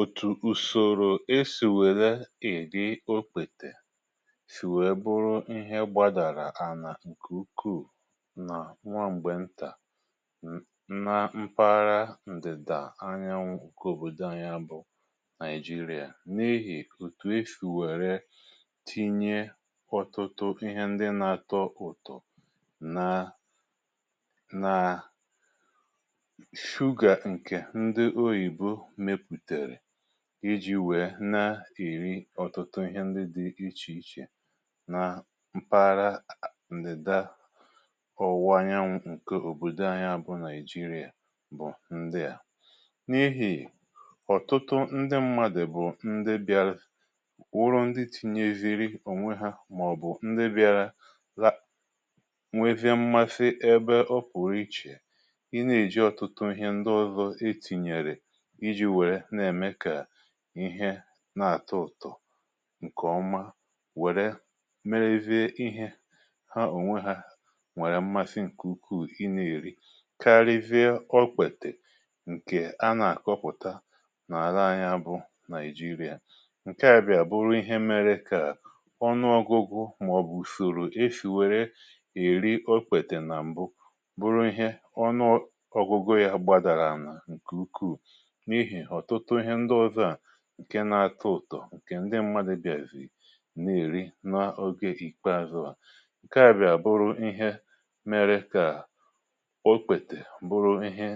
Otù ùsòrò esì wèrè èri okpètè sì wèe bụrụ ihe gbȧdàrà ànà ǹkè ukwuu nà nwa m̀gbè ntà na mpaghara ǹdị̀dà anyanwụ nkè òbòdo anyị̇ a bụ̀ Naijiria n’ihì otù esì wère tinye ọ̀tụtụ ihe ndi nà-àtọ ụ̀tọ nà naa shuga nke ndi oyibo mepụtara iji̇ wèe na-èri ọ̀tụtụ ihe ndị dị ichè ichè na mpaghara ndịda ọwụwa anyanwụ̇ ǹke òbòdò anyi a bụ naìjirià bụ̀ ndị à: n’ihì ọ̀tụtụ ndị mmadụ̀ bụ̀ ndị bịarụ wụrụ ndị tinyeziri ònwe ha màọ̀bụ̀ ndị bịarụ na nwezie mmasị ebe ọ pụ̀rụ̀ ichè ị na-èji ọ̀tụtụ ihe ndị ọzọ e tinyèrè iji wèrè na eme ka ihe na-àtọ ụ̀tọ̀ ǹkè ọma wère merezie ihe ha ònwe ha nwere mmasị ǹkè ukwuù ịna èri karịzie ọkpètè ǹkè a nà-àkọpụ̀ta n’ala anya bụ Naijiria. Nke à bịara bụrụ ihe mere kà ọnụọgụgụ màọbụ̀ usoro esì wère èri ọkpètè nà m̀bụ bụrụ ihe ọnụọgụgụ ya gbadàrà anà ǹkè ukwuù n'ihi ọtụtụ ihe ndị ọzọ a ǹke na-atọ ụtọ̀ ǹkè ndị mmadụ̀ bịàzìri n’èri n’oge ikpeazụ̀ à. Nke à bịà bụrụ ihe mere kà okpètè bụrụ ihe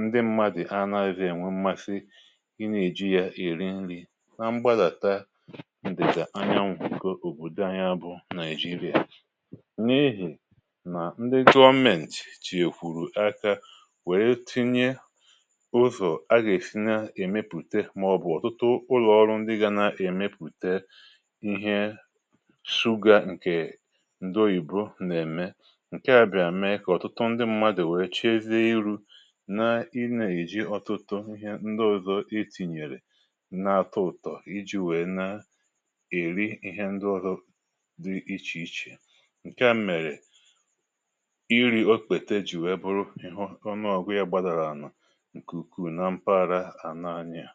ndị mmadụ̀ a nà-azị ènwe mmasị ị nà-èji ya eri nri na mgbadàta ndida anyanwu nke òbòdò ànyi a bụ nàịjirì. N’ihì nà ndị Gọọmentì tinye kwùrù aka wèe tinye ụzọ aga esi na emepụta màọbụ̀ ọ̀tụtụ ụlọ̀ọrụ ndị gȧ na-èmepùte ihe suga ǹkè ndoyìbo nà-ème ǹke à bịà mee kà ọ̀tụtụ ndị mmadù wee chiezie iru̇ na i na-èji ọ̀tụtụ ihe ndị ọ̀zọ etìnyèrè na-atọ ụtọ iji̇ wèe na-èri ihe ndị ọzọ dị ichè ichè ǹke à mèrè iri̇ okpètè ji wèe bụrụ ị̀hụ ọnụ ọ̀gụ̀ ya gbàdàrà àna nke ukwuu na mpaghara ana anyị a.